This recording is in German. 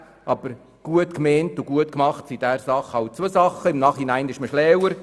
Aber gut gemeint und gut gemacht sind hier zwei verschiedene Dinge.